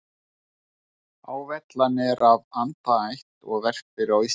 Hávellan er af andaætt og verpir á Íslandi.